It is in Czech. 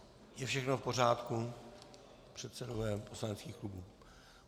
Je všechno v pořádku, předsedové poslaneckých klubů?